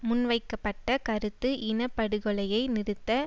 முன்வைக்கப்பட்ட கருத்து இன படுகொலையை நிறுத்த